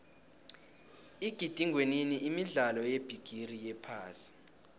igidingwenini imidlalo yebigiri yephasi